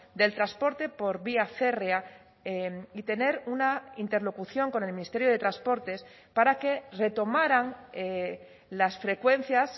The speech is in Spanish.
del transporte por vía férrea y tener una interlocución con el ministerio de transportes para que retomaran las frecuencias